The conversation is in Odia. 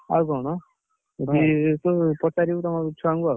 ଆଉ କଣ, ପଚାରିବୁ ତମ ଛୁଆଙ୍କୁ ଆଉ।